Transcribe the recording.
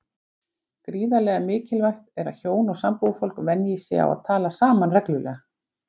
Gríðarlega mikilvægt er að hjón og sambúðarfólk venji sig á að tala saman reglulega.